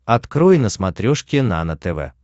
открой на смотрешке нано тв